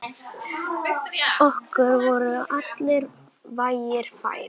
Okkur voru allir vegir færir.